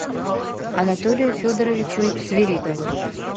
анатолию федоровичу свиридову